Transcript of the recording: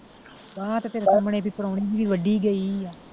ਬਾਂਹ ਤੇ ਤੇਰੇ ਸਾਹਮਣੇ ਇਹਦੀ ਪ੍ਰਾਹੁਣੀ ਦੀ ਵੀ ਵੱਡੀ ਗਈ ਸੀ।